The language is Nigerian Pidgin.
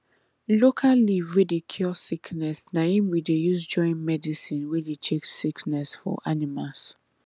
local leaf wey dey cure sickness na im we dey use join medicine wey dey chase sickness for animals